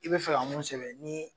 I be fɛ ka mun sɛbɛn ni